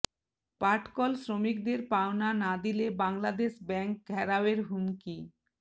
পাটকল শ্রমিকদের পাওনা না দিলে বাংলাদেশ ব্যাংক ঘেরাওয়ের হুমকি